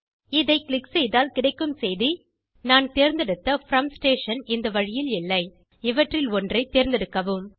இதை க்ளிக் செய்தால் கிடைக்கும் செய்தி நான் தேர்ந்தெடுத்த ப்ரோம் ஸ்டேஷன் இந்த வழியில் இல்லை இவற்றில் ஒற்றை தேர்ந்தெடுக்கவும்